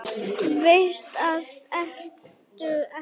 Veist að það ertu ekki.